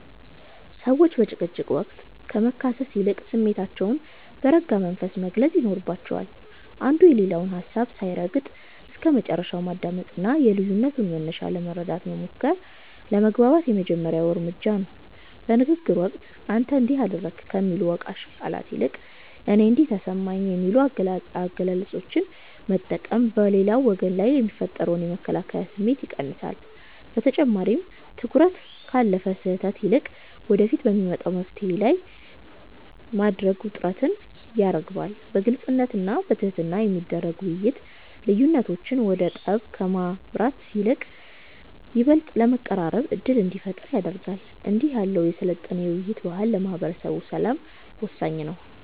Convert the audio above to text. ሰዎች በጭቅጭቅ ወቅት ከመካሰስ ይልቅ ስሜታቸውን በረጋ መንፈስ መግለጽ ይኖርባቸዋል። አንዱ የሌላውን ሀሳብ ሳይረግጥ እስከመጨረሻው ማዳመጥና የልዩነቱን መነሻ ለመረዳት መሞከር ለመግባባት የመጀመሪያው እርምጃ ነው። በንግግር ወቅት "አንተ እንዲህ አደረግክ" ከሚሉ ወቃሽ ቃላት ይልቅ "እኔ እንዲህ ተሰማኝ" የሚሉ አገላለጾችን መጠቀም በሌላው ወገን ላይ የሚፈጠርን የመከላከያ ስሜት ይቀንሳል። በተጨማሪም፣ ትኩረትን ካለፈ ስህተት ይልቅ ወደፊት በሚመጣ መፍትሔ ላይ ማድረግ ውጥረትን ያረግባል። በግልጽነትና በትህትና የሚደረግ ውይይት፣ ልዩነቶች ወደ ጠብ ከማምራት ይልቅ ይበልጥ ለመቀራረብ ዕድል እንዲፈጥሩ ያደርጋል። እንዲህ ያለው የሰለጠነ የውይይት ባህል ለማህበረሰብ ሰላም ወሳኝ ነው።